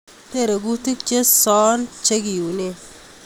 Tere kutiik chesoon chekiyuneen